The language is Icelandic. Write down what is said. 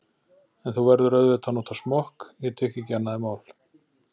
En þú verður auðvitað að nota smokk, ég tek ekki annað í mál.